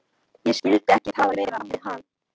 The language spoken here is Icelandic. Ég skyldi ekki tala meira við hann.